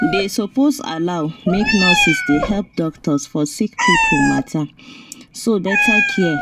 they suppose allow make nurses dey help doctors for sick people matter so better care